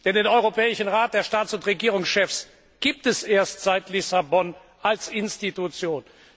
Denn den Europäischen Rat der Staats und Regierungschefs gibt es erst seit Lissabon als Institution.